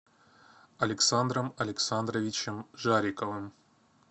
александром александровичем жариковым